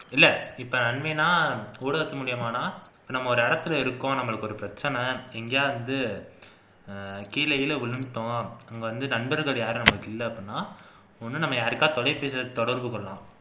இல்ல இப்ப நன்மைனா ஊடகத்து மூலமாடா நம்ம ஒரு இடத்துல இருக்கோம் ஒரு பிரச்சினை எங்கயா இது கீழகீழ விழுந்துட்டோம் வந்து நண்பர்கள் யாரும் நமக்கு இல்ல அப்படினா ஒன்னு நம்ம யாருக்காச்சும் தொலைபேசில தொடர்பு கொள்ளலாம்